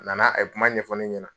na na a ye kuma ɲɛfɔ ne ɲɛnɛ.